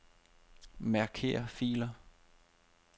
Marker filer.